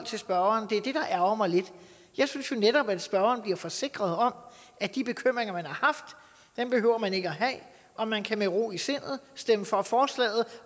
spørgeren det er det der ærgrer mig lidt jeg synes jo netop at spørgeren bliver forsikret om at de bekymringer man har haft behøver man ikke at have og man kan med ro i sindet stemme for forslaget